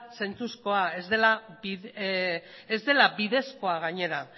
zentzuzkoa ez dela bidezkoa gainera